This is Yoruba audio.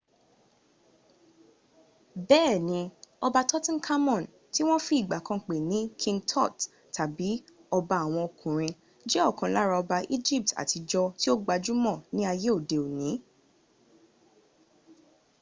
bẹ́ẹ̀ni ọba tutankhamun ti wọ́n fi ìgbà kan pè ní king tut tàbí ọba àwọn ọkùnrin jẹ́ ọ̀kan lára ọba egypt àtijọ́ tí ó gbajúmọ̀ ní ayé òdi òní